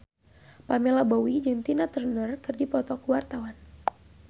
Pamela Bowie jeung Tina Turner keur dipoto ku wartawan